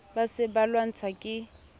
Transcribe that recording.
ba se ba lwantshwa ke